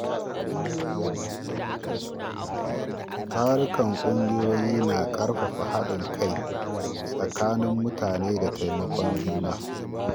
Tarukan ƙungiyoyi na ƙarfafa haɗin kai tsakanin mutane da taimakon juna.